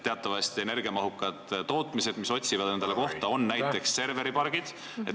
Teatavasti otsivad energiamahukad tootmised endale kohta, näiteks serveripargid.